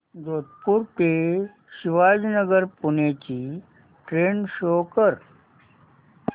जोधपुर ते शिवाजीनगर पुणे ची train show कर